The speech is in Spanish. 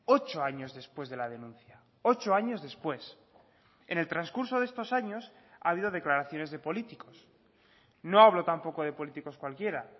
ocho años después de la denuncia ocho años después en el transcurso de estos años ha habido declaraciones de políticos no hablo tampoco de políticos cualquiera